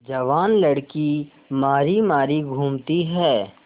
जवान लड़की मारी मारी घूमती है